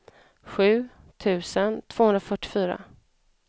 sju tusen tvåhundrafyrtiofyra